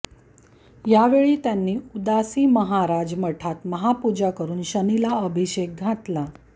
यावेळी त्यांनी उदासी महाराज मठात महापूजा करून शनिला अभिषेक घातला